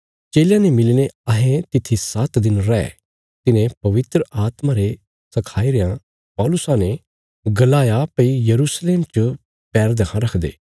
चेलयां ने मिलीने अहें तित्थी सात्त दिन रै तिन्हें पवित्र आत्मा रे सखाई रयां पौलुसा ने गलाया भई यरूशलेम च पैर देक्खा रखदा